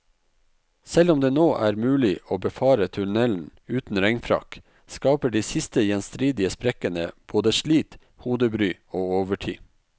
Selv om det nå er mulig å befare tunnelen uten regnfrakk, skaper de siste gjenstridige sprekkene både slit, hodebry og overtid.